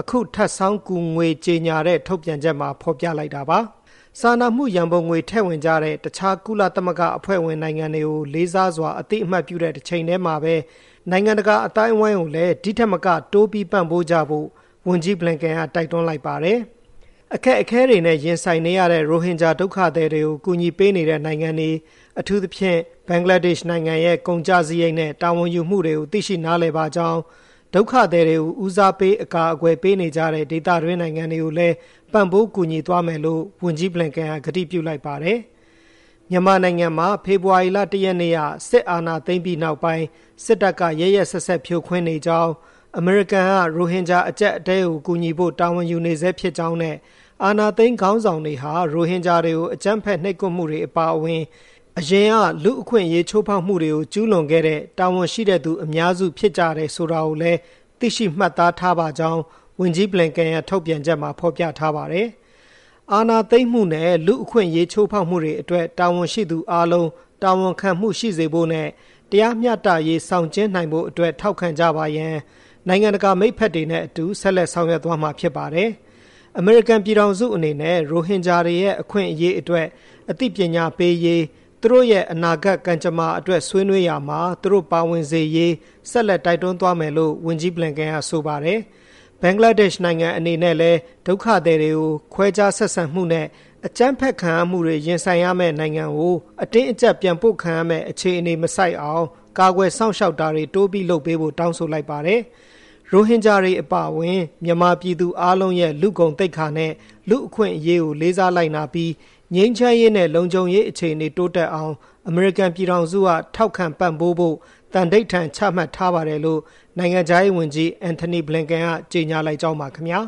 အခု ထပ်ဆောင်းကူငွေကြေညာတဲ့ ထုတ်ပြန်ချက်မှာဖေါ်ပြလိုက်တာပါ။ စာနာမှုရန်ပုံငွေ ထည့်ဝင်ကြတဲ့ တခြားကုလသမဂ္ဂအဖွဲ့ဝင်နိုင်ငွတွေကို လေးစားစွာ အသိအမှတ်ပြုတဲ့တချိန်တည်းမှာဘဲ နိုင်ငံတကာအသိုင်းအဝိုင်းကိုလည်း ဒီထက်မက တိုးပြီးပံ့ပိုးကြဖို့ ဝန်ကြီး Blinken ကတိုက်တွန်းလိုက်ပါတယ်။ အခက်အခဲတွေနဲ့ ရင်ဆိုင်နေရတဲ့ ရိုဟင်ဂျာဒုက္ခသည်တွေကို ကူညီပေးနေတဲ့ နိုင်ငံတွေ၊ အထူးသဖြင့် ဘင်္ဂလားဒက်ရှ်နိုင်ငံရဲ့ ကုန်ကျစားရိတ်နဲ့ တာဝန်ယူမှုတွေကို သိရှိနားလည်ပါကြောင်း၊ ဒုက္ခသည်တွေကို ဦးစားပေး အကာအကွယ်ပေးနေကြတဲ့ ဒေသတွင်းနိုင်ငံတွေကိုလည်း ပံ့ပိုးကူညီသွားမယ်လို့ ဝန်ကြီး Blinken က ကတိပြုလိုက်ပါတယ်။ မြန်မာနိုင်ငံမှာ ဖေဖေါ်ဝါရီလ ၁ ရက်နေ့က စစ်အာဏာသိမ်းပြီးနောက်ပိုင်း စစ်တပ်က ရက်ရက်စက်စက် ဖြိုခွင်းနေကြောင်း၊ အမေရိကန်က ရိုဟင်ဂျာအကျပ်အတည်းကို ကူညီဖို့ တာဝန်ယူနေဆဲဖြစ်ကြောင်းနဲ့ အာဏာသိမ်းခေါင်းဆောင်တွေဟာ ရိုဟင်ဂျာတွေကို အကြမ်းဖက် နှိပ်ကွပ်မှုတွေအပါအဝင်၊ အရင်က လူ့အခွင့်အရေးချိုးဖေါက်မှုတွေကို ကျူးလွန်ခဲ့တဲ့၊ တာဝန်ရှိတဲ့သူအများစုဖြစ်ကြတယ်ဆိုတာကိုလည်း သိရှိမှတ်သားထားပါကြောင်း ဝန်ကြီး Blinken ရဲ့ ထုတ်ပြန်ချက်မှာ ဖေါ်ပြထားပါတယ်။ အာဏာသိမ်းမှုနဲ့ လူ့အခွင့်အရေးချိုးဖေါက်မှုတွေအတွက် တာဝန်ရှိသူအားလုံး တာဝန်ခံမှုရှိစေဖို့နဲ့ တရားမျှတရေး ဆောင်ကျဉ်းနိုင်ဖို့အတွက် ထောက်ခံကြပါရန်၊ နိုင်ငံတကာမိတ်ဖက်တွေနဲ့အတူ ဆက်လက်ဆောင်ရွက်သွားမှာဖြစ်ပါတယ်။ အမေရိကန်ပြည်ထောင်စုအနေနဲ့ ရိုဟင်ဂျာတွေရဲ့ အခွင့်အရေးအတွက် အသိပညာပေးရေး၊ သူတို့ရဲ့ အနာဂတ်ကံကြမ္မာအတွက်ဆွေးနွေးရာမှာ သူတို့ပါဝင်စေရေး ဆက်လက် တိုက်တွန်းသွားမယ်လို့ ဝန်ကြီး Blinken က ဆိုပါတယ်။ ဘင်္ဂလားဒက်ရှ်နိုင်ငံ အနေနဲ့လည်း၊ ဒုက္ခသည်တွေကို ခွဲခြားဆက်ဆံမှုနဲ့ အကြမ်းဖက်ခံရမှုတွေ ရင်ဆိုင်ရမယ့် နိုင်ငံကို အတင်းအကျပ်ပြန်ပို့ခံရမယ့် အခြေအနေမဆိုက်အောင်၊ ကာကွယ်စောင့်ရှောက်တာတွေ တိုးပြီးလုပ်ပေးဖို့ တောင်းဆိုလိုက်ပါတယ်။ ရိုဟင်ဂျာတွေအပါအဝင် မြန်မာပြည်သူအားလုံးရဲ့ လူ့ဂုဏ်သိက္ခာနဲ့ လူ့အခွင်းအရေးကိုလေးစားလိုက်နာပြီး၊ ငြိမ်းချမ်းရေးနဲ့ လုံခြုံရေးအခြေအနေ တိုးတက်အောင် အမေရိကန်ပြည်ထောင်စုက ထောက်ခံပံပိုးဖို့ သံဓိဌာန်ချမှတ်ထားပါတယ်လို့ နိုင်ငံခြားရေးဝန်ကြီး Antony Blinken ကကြေညာလိုက်ကြောင်းပါ ခင်ဗျာ